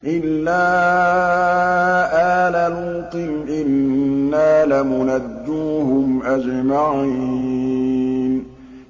إِلَّا آلَ لُوطٍ إِنَّا لَمُنَجُّوهُمْ أَجْمَعِينَ